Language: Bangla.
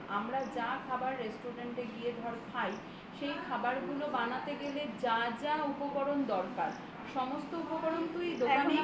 আমরা চা খাবার restaurant এ গিয়ে খাই সেই খাবারগুলো ঘরে বানাতে গেলে উপকরণ দরকার সমস্ত উপকরণ তুই দোকানেই কিনতে পেয়ে যাবি